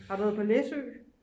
har du været på læsø